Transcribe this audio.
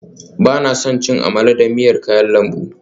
Ba na son cin amala da miyar kayan lambu